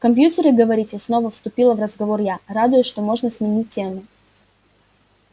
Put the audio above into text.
компьютеры говорите снова вступила в разговор я радуясь что можно сменить тему